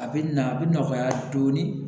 A bɛ na a bɛ nɔgɔya dɔɔnin